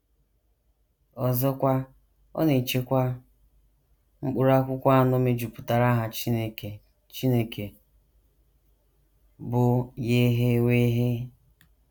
Ọzọkwa, ọ na - echekwa... mkpụrụ akwụkwọ anọ mejupụtara aha Chineke Chineke, bụ́ YHWH. ”